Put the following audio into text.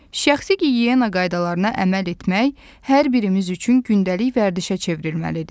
Şəxsi gigiyena qaydalarına əməl etmək hər birimiz üçün gündəlik vərdişə çevrilməlidir.